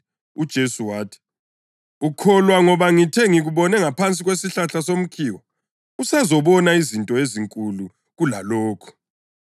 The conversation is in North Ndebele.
UJesu wathi, “Ukholwa ngoba ngithe ngikubone ngaphansi kwesihlahla somkhiwa. Usazobona izinto ezinkulu kulalokho.”